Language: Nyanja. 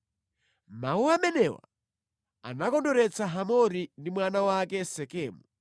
Mawu amenewa anakondweretsa Hamori ndi mwana wake Sekemu.